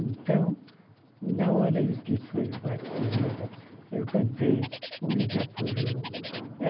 Então, na hora em que foi o batizado, eu cantei o Irapuru.